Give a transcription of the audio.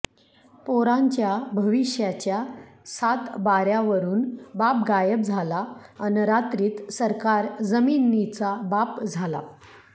पोरांच्या भविष्याच्या सातबाऱ्यावरून बाप गायब झाला अन् रात्रीत सरकार जमिनीचा बाप झाला